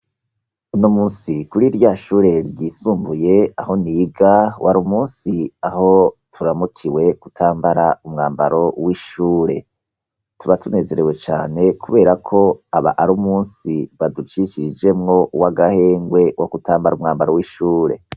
Uno munsi kuri rya shure ryisumbuye aho niga wari umunsi aho turamukiwe gutambara umwambaro w'ishure. Tuba tunezerewe cane, kubera ko aba ari umunsi baducicirijemwo w'agahengwe wo kutambara umwambaro w'ishure.